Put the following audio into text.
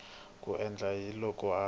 ku endla yini loko a